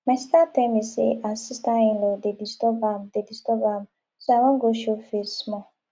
my sister tell me say her sister inlaw dey disturb am dey disturb am so i wan go show face small